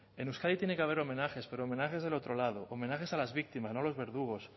en euskadi tiene que haber homenajes pero homenajes del otro lado homenajes a las víctimas no a los verdugos